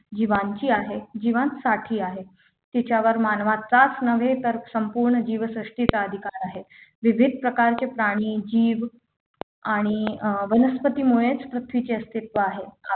जीवांची आहे जीवांसाठी आहे तिच्यावर मानवाचाच नव्हे तर संपूर्ण जीवसृष्टीचा अधिकार आहे विविध प्रकारचे प्राणी जीव आणि अं वनस्पती मुळेच पृथ्वीचे अस्तित्व आहे